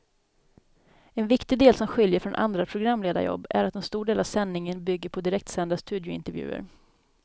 En viktig del som skiljer från andra programledarjobb är att en stor del av sändningen bygger på direktsända studiointervjuer.